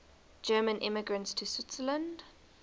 german immigrants to switzerland